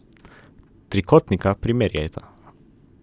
Trikotnika primerjajta.